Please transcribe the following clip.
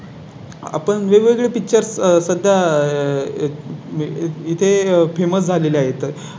आपण वेगवेगळे पिक्चर सध्या आह इथे Famous झालेले आहे तर